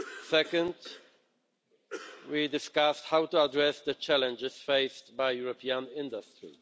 Second, we discussed how to address the challenges faced by European industry.